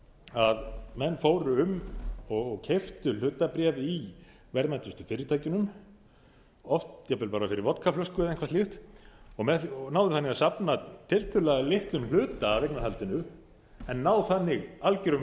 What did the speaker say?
að menn fóru um og keyptu hlutabréf í verðmætustu fyrirtækjunum oft jafnvel bara fyrir vodkaflösku eða eitthvað slíkt og náðu þannig að safna tiltölulega litlum hlut af eignarhaldinu en ná þannig algjörum